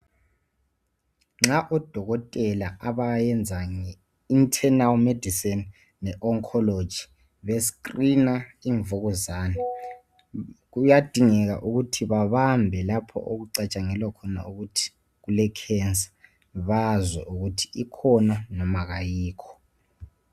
Nxa odokotela abayenza nge internal medicine le oncology be screen imvukuzane kiyadingeka ukuthi babambe lapho okucatshangelwa khona ukuthi kule cancer bazwe ukuthi ikhona kumbe makayikho